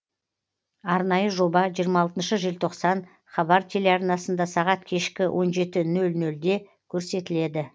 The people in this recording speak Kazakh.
арнайы жоба жиырма алтыншы желтоқсан хабар телеарнасында сағат кешкі он жеті нөл нөлде көрсетіледі